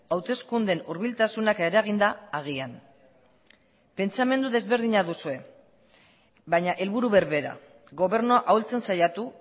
hauteskundeen hurbiltasunak eragin da agian pentsamendu desberdina duzue baina helburu berbera gobernua ahultzen saiatu